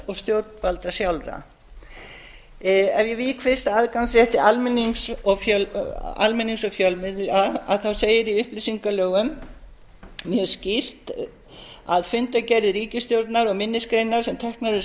og stjórnvalda sjálfra ef ég vík fyrst að aðgangsrétti almennings og fjölmiðla þá segir í upplýsingalögum mjög skýrt að fundargerðir ríkisstjórnar og minnisgreinar sem teknar eru